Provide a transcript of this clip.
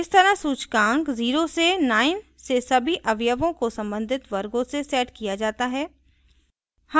इस तरह सूचकांक 0 से 9 से सभी अवयवों को संबंधित वर्गों से set किया जाता है